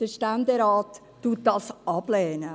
Der Ständerat lehnt diese ab;